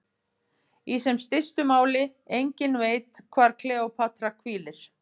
Í sem stystu máli: enginn veit hvar Kleópatra hvílir.